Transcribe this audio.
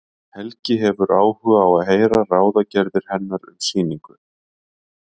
Helgi hefur áhuga á að heyra ráðagerðir hennar um sýningu.